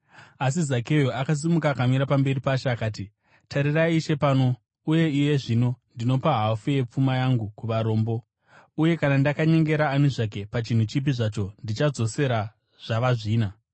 Asi Zakeo akasimuka akamira pamberi paShe akati, “Tarirai, Ishe! Pano, uye iye zvino, ndinopa hafu yepfuma yangu kuvarombo, uye kana ndakanyengera ani zvake pachinhu chipi zvacho, ndichadzosera zvava zvina.”